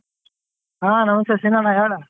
ಆ ನಮಸ್ತೆ ಸೀನಣ್ಣ ಹೇಳು.